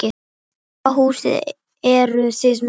Hvaða húsdýr eru þið með?